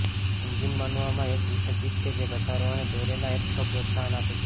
engine માનવામાં એક વિસર્જિત કે જે ધસારો અને દોરેલા એરફ્લો પ્રોત્સાહન આપે છે